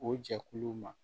O jɛkuluw ma